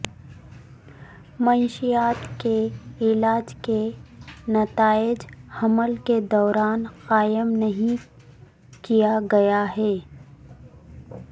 منشیات کے علاج کے نتائج حمل کے دوران قائم نہیں کیا گیا ہے